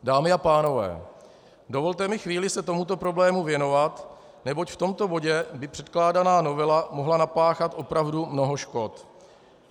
Dámy a pánové, dovolte mi chvíli se tomuto problému věnovat, neboť v tomto bodě by předkládaná novela mohla napáchat opravdu mnoho škod.